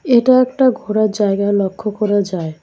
এটা একটা ঘোরার জায়গা লক্ষ্য করা যায়।